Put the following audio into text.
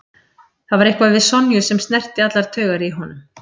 Það var eitthvað við Sonju sem snerti allar taugar í honum.